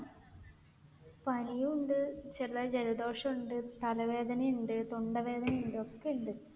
പനിയുമുണ്ട്, ചെറുതായി ജലദോഷമുണ്ട്, തല വേദനയുണ്ട്, തൊണ്ട വേദനയുണ്ട്. ഒക്കെ ഉണ്ട്.